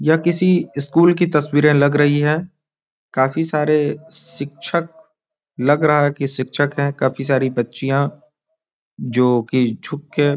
यह किसी स्कूल की तस्वीरे लग रही है काफी सारे शिक्षक लग रहा है की शिक्षक है काफी सारी बच्चियाँ जो की छुप के --